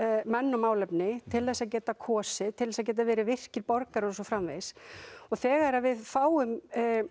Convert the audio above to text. menn og málefni til þess að geta kosið til þess að geta verið virkir borgarar og svo framvegis og þegar við fáum